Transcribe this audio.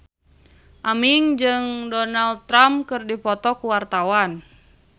Aming jeung Donald Trump keur dipoto ku wartawan